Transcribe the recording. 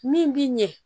Min bi ɲɛ